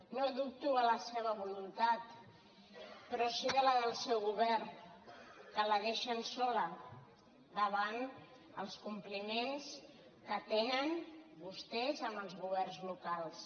no dubto de la seva voluntat però sí de la del seu govern que la deixen sola davant els compliments que tenen vostès amb els governs locals